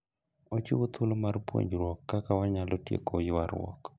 Ochiwo thuolo mar puonjruok kaka wanyalo tieko ywaruok.